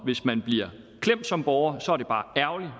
hvis man bliver klemt som borger